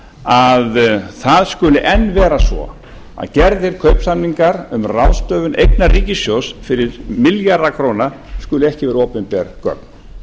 að það skuli enn vera svo að gerðir kaupsamningar um ráðstöfun eigna ríkissjóðs fyrir milljarða króna skuli ekki vera opinber gögn